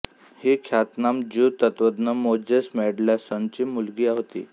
ही ख्यातनाम ज्यू तत्त्वज्ञ मोझेस मेंडेलसॉनची मुलगी होती